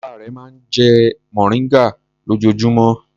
Bàbá rẹ̀ máa ń jẹ mòríngà lójoojúmọ́.